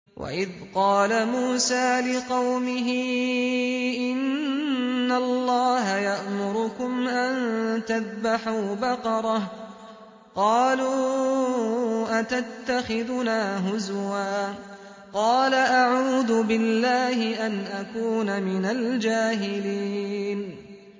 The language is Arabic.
وَإِذْ قَالَ مُوسَىٰ لِقَوْمِهِ إِنَّ اللَّهَ يَأْمُرُكُمْ أَن تَذْبَحُوا بَقَرَةً ۖ قَالُوا أَتَتَّخِذُنَا هُزُوًا ۖ قَالَ أَعُوذُ بِاللَّهِ أَنْ أَكُونَ مِنَ الْجَاهِلِينَ